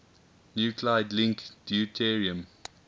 nuclide link deuterium